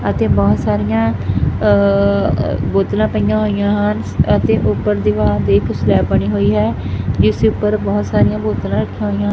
ਅਤੇ ਬਹੁਤ ਸਾਰੀਆਂ ਅ ਬੋਤਲਾਂ ਪਈਆਂ ਹੋਈਆਂ ਹਨ ਅਤੇ ਉੱਪਰ ਦੀਵਾਰ ਦੇ ਇੱਕ ਸਲੈਬ ਬਣੀ ਹੋਈ ਹੈ ਜਿਸ ਉੱਪਰ ਬਹੁਤ ਸਾਰੀਆਂ ਬੋਤਲਾਂ ਰੱਖੀਆਂ ਹੋਈਆਂ--